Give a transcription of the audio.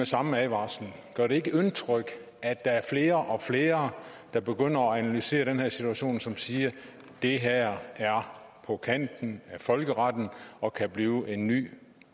samme advarsel gør det ikke indtryk at der er flere og flere der begynder at analysere den her situation som siger at det her er på kanten af folkeretten og kan blive en ny